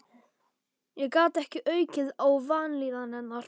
Ég gat ekki aukið á vanlíðan hennar.